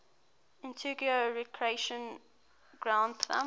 antigua recreation ground thumb